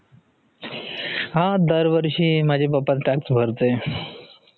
हा दरवर्षी माझे पप्पा tax भरते.